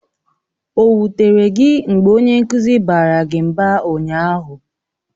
O wutere gị mgbe onye nkụzi gị baara gị mba ụnyaahụ?